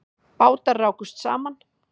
Bátar rákust saman